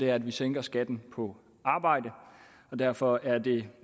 at vi sænker skatten på arbejde derfor er det